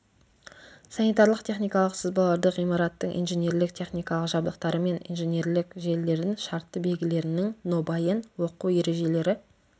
санитарлық-техникалық сызбаларды ғимараттың инженерлік-техникалық жабдықтары мен инженерлік желілердің шартты белгілерінің нобайын оқу ережелері